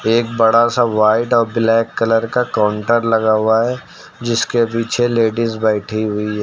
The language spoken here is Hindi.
एक बड़ा सा व्हाइट और ब्लैक कलर का काउंटर लगा हुआ है जिसके पीछे लेडिस बैठी हुई है।